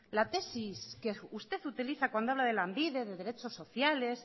la tesis que usted utiliza cuando habla de lanbide de derechos sociales